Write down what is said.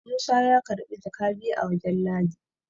Musa ya karbi jaka biyu a wajen ladi